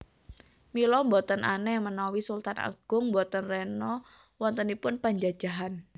Mila boten aneh manawi Sultan Agung boten rena wontenipun panjajahan